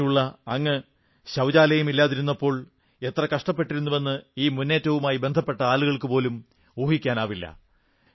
അങ്ങനെയുള്ള അങ്ങ് ശൌചാലയം ഇല്ലാതിരുന്നപ്പോൾ എത്ര കഷ്ടപ്പെട്ടിരുന്നുവെന്ന് ഈ മുന്നേറ്റവുമായി ബന്ധപ്പെട്ട ആളുകൾക്കു പോലും ഊഹിക്കാനാവില്ല